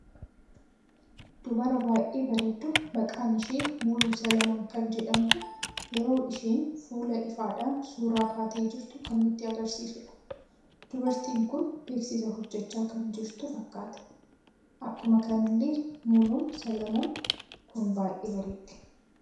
Dubara baay'ee bareeddu maqaan ishee muluu solomon kan jedhamtu yeroo isheen fuula ifadhan suuraa kaatee jirtu kan nutti agarsiisuudha. dubartiin kun beeksiisa hojjechaa kan jirtu fakkata. Akkuma kanallee muluun solomoon kun baay'ee bareeddi.